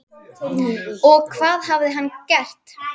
Og hvað hafði hann gert?